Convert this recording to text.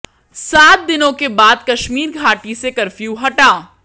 सात दिनों के बाद कश्मीर घाटी से कर्फ्यू हटा